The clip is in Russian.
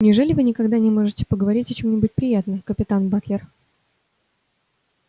неужели вы никогда не можете поговорить о чём-нибудь приятном капитан батлер